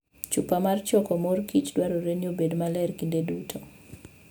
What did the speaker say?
Chupa mar choko mor kich dwarore ni obed maler kinde duto.